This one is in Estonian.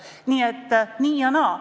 Nii et nii ja naa.